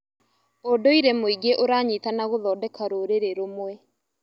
ũndũire mwĩingĩ ũranyitana gũthondeka rũrĩrĩ rũmwe.